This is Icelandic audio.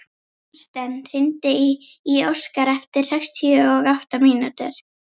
Marten, hringdu í Óskar eftir sextíu og átta mínútur.